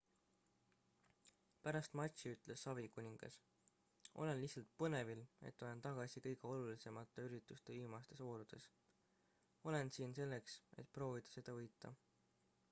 "pärast matši ütles savikuningas: "olen lihtsalt põnevil et olen tagasi kõige olulisemate ürituste viimastes voorudes. olen siin selleks et proovida seda võita.""